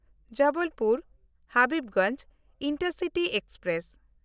Jabalpur Habibganj intercity express